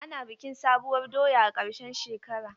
Ana bikin sabuwar doya a karshen shekara.